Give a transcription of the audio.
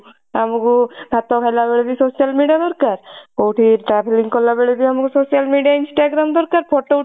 ଆମକୁ ଭାତ ଖାଇଲା ବେଳେ ବି social media ଦରକାର କଉଠି travelling କଲାବେଳେ ବି ଆମକୁ social media Instagram ଦରକାର photo ଉଠେଇକି